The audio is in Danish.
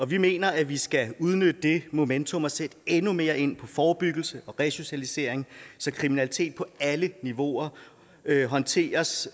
vi mener at vi skal udnytte det momentum og sætte endnu mere ind på forebyggelse og resocialisering så kriminalitet på alle niveauer håndteres